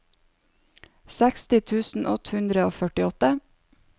seksti tusen åtte hundre og førtiåtte